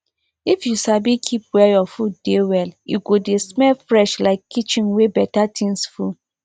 if you sabi keep where your food dey well e go dey smell fresh like kitchen wey better thing full